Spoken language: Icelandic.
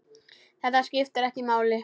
Þetta skiptir ekki máli.